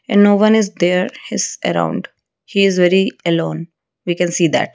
and no one is there his around he is very alone we can see that.